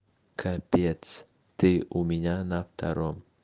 капец ты у меня на втором